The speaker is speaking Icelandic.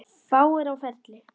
Fáir á ferli.